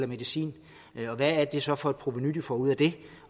medicin og hvad det så er for et provenu de får ud af det